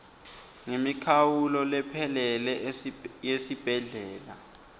ngemikhawulo lephelele yesibhedlela